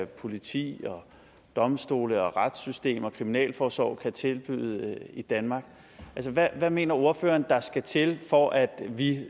politi domstole retssystem og kriminalforsorg kan tilbyde i danmark hvad mener ordføreren der skal til for at vi